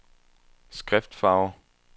skriftfarve